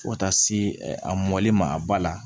Fo ka taa se a mɔli ma a ba la